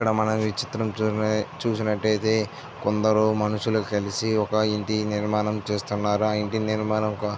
ఇక్కడ మనం ఈ చిత్రం చూసిన చూసినట్టుయితే కొందరు మనుషులు కలిసి ఒక ఇంటి నిర్మాణం చేస్తున్నారు ఆ ఇంటి నిర్మాణం కో --